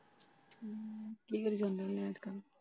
ਕੀ ਕਰੀ ਜਾਣੇ ਆ?